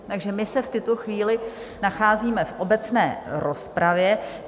Takže my se v tuto chvíli nacházíme v obecné rozpravě.